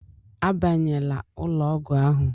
Abanyela ụlọ ọgwụ ahụ!